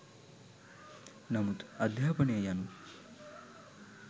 නමුත් අධ්‍යාපනය යනු